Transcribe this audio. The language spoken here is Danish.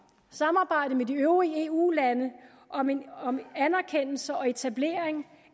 samarbejde med de øvrige eu lande om anerkendelse og etablering